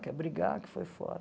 Quer brigar que foi fora.